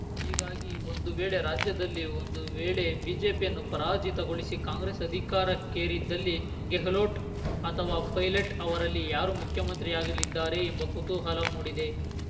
ಹೀಗಾಗಿ ಒಂದು ವೇಳೆ ರಾಜ್ಯದಲ್ಲಿ ಒಂದು ವೇಳೆ ಬಿಜೆಪಿಯನ್ನು ಪರಾಜಿತಗೊಳಿಸಿ ಕಾಂಗ್ರೆಸ್‌ ಅಧಿಕಾರಕ್ಕೇರಿದಲ್ಲಿ ಗೆಹ್ಲೋಟ್‌ ಅಥವಾ ಪೈಲಟ್‌ ಅವರಲ್ಲಿ ಯಾರು ಮುಖ್ಯಮಂತ್ರಿಯಾಗಲಿದ್ದಾರೆ ಎಂಬ ಕುತೂಹಲ ಮೂಡಿದೆ